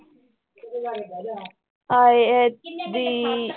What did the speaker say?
ਹਾਏ ਇਹ ਦੀ